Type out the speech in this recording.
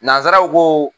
Nanzaraw ko